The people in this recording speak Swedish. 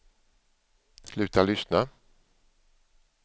sluta lyssna